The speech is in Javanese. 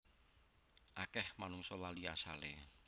Akeh manungsa lali asale